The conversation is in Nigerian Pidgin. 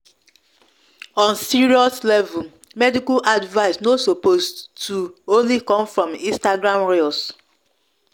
on serious level medical advice no suppose to true true only come from instagram reels